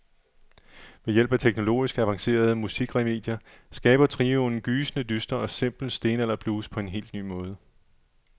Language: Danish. Ved hjælp af teknologisk avancerede musikremedier skaber trioen gysende dyster og simpel stenalderblues på en helt ny måde.